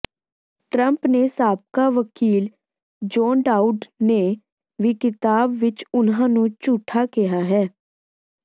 Trump ਦੇ ਸਾਬਕਾ ਵਕੀਲ ਜੌਨ ਡਾਊਡ ਨੇ ਵੀ ਕਿਤਾਬ ਵਿੱਚ ਉਨ੍ਹਾਂ ਨੂੰ ਝੂਠਾ ਕਿਹਾ ਹੈ